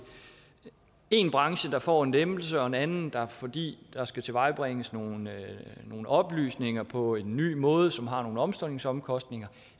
én branche der får en lempelse og en anden fordi der skal tilvejebringes nogle oplysninger på en ny måde som har nogle omstillingsomkostninger